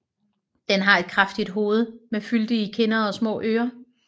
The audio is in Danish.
Den har et kraftigt hoved med fyldige kinder og små ører